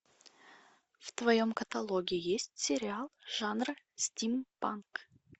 в твоем каталоге есть сериал жанра стим панк